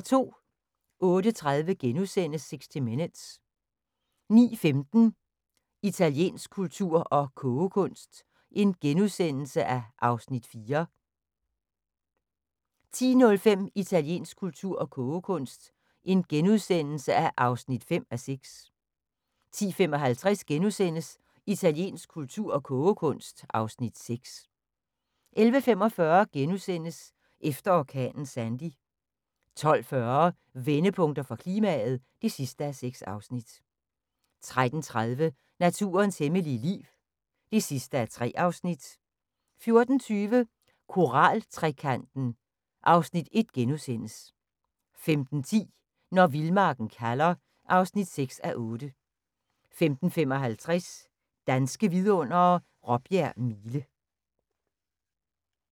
08:30: 60 Minutes * 09:15: Italiensk kultur og kogekunst (Afs. 4)* 10:05: Italiensk kultur og kogekunst (5:6)* 10:55: Italiensk kultur og kogekunst (Afs. 6)* 11:45: Efter orkanen Sandy * 12:40: Vendepunkter for klimaet (6:6) 13:30: Naturens hemmelige liv (3:3) 14:20: Koral-trekanten (Afs. 1)* 15:10: Når vildmarken kalder (6:8) 15:55: Danske vidundere: Råbjerg Mile